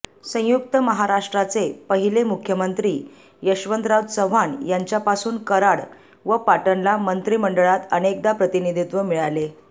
संयुक्त महाराष्ट्राचे पहिले मुख्यमंत्री यशवंतराव चव्हाण यांच्यापासून कराड व पाटणला मंत्रिमंडळात अनेकदा प्रतिनिधित्व मिळाले